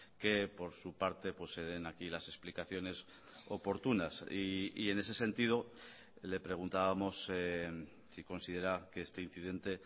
que por su parte se den aquí las explicaciones oportunas y en ese sentido le preguntábamos si considera que este incidente